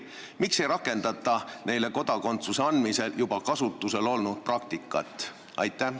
Miks ei rakendata neile kodakondsuse andmisel juba kasutusel olnud praktikat?